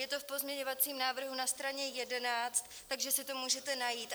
Je to v pozměňovacím návrhu na straně 11, takže si to můžete najít.